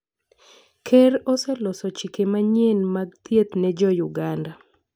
Ker oseloso chike manyien mag thieth ne jouganda.